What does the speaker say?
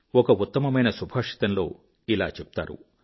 ఒక ఉత్తమ మైన సుభాషితములో ఇలా చెప్తారు